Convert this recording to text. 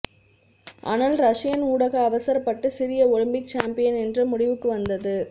ஆனால் ரஷியன் ஊடக அவசரப்பட்டு சிறிய ஒலிம்பிக் சாம்பியன் என்ற முடிவுக்கு வந்தது